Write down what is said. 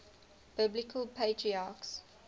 biblical patriarchs